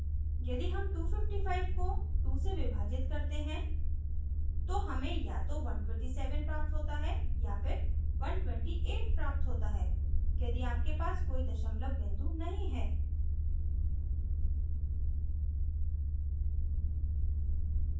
यदि हम 255 को 2 से विभाजित करते हैं तो हमें या तो 127 प्राप्त होता है या फिर 128 प्राप्त होता है यदि आपके पास कोई दशमलव बिंदु नहीं है